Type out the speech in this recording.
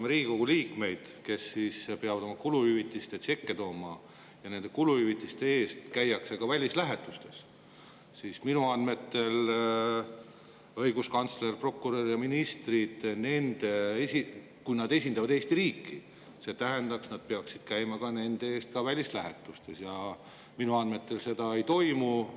Kui Riigikogu liikmed peavad oma kuluhüvitiste tšekke tooma ja käivad kuluhüvitiste eest ka välislähetustes, siis õiguskantsler, prokurör ja ministrid, kes ka Eesti riiki esindavad ja välislähetustes käivad, minu andmetel seda.